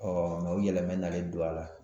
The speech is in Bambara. mɛ o yɛlɛmɛni nalen don a la